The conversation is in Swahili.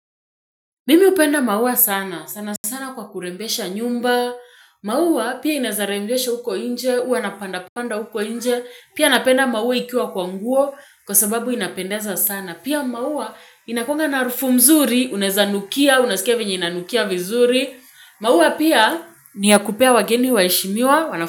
Mimi hupenda maua sana. Sana sana kwa kurembesha nyumba. Maua pia inaeza rembesha uko inje. Uwa napanda panda uko inje. Pia napenda maua ikiwa kwa nguo. Kwa sababu inapendeza sana. Pia maua inakuanga na harufu mzuri. Unaeza nukia. Unasikia venye inanukia vizuri. Maua pia ni ya kupea wageni waheshimiwa.